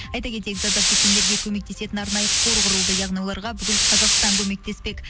айта кетейік зардап шеккендерге көмектесетін арнайы қор құрылды яғни оларға бүкіл қазақстан көмектеспек